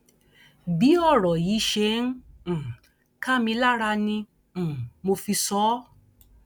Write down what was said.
bí ọrọ yìí ṣe ń um ká mi lára ni um mo fi sọ ọ